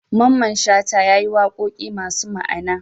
Mamman shata yayi waƙoƙi masu ma Ana